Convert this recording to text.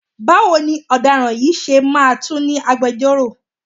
Báwo ni ọ̀daràn yìí ṣe máa tún ní agbejọ́rò?